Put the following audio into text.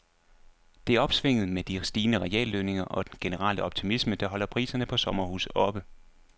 Det er opsvinget med de stigende reallønninger og den generelle optimisme, der holder priserne på sommerhuse oppe.